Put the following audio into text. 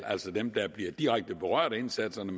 altså dem der bliver direkte berørt af indsatserne